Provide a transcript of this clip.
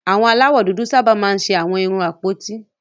Àwọn aláwọ̀ dúdú sábà máa ń ṣe àwọn irun àpótí